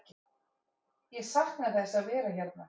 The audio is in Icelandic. Ég sakna þess að vera hérna.